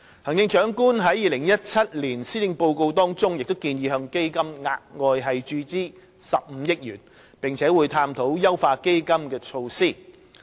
行政長官在2017年施政報告中建議向基金額外注資15億元，並會探討優化基金的措施。